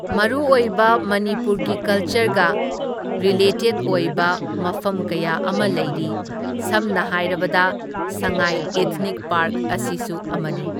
ꯃꯔꯨꯑꯣꯏꯕ ꯃꯅꯤꯄꯨꯔꯒꯤ ꯀꯜꯆꯔꯒ ꯔꯤꯂꯦꯇꯦꯗ ꯑꯣꯏꯕ ꯃꯐꯝ ꯀꯌꯥ ꯑꯃ ꯂꯩꯔꯤ, ꯁꯝꯅ ꯍꯥꯏꯔꯕꯗ ꯁꯉꯥꯏ ꯏꯊꯅꯤꯛ ꯄꯥꯔꯛ ꯑꯁꯤꯁꯨ ꯑꯃꯅꯤ꯫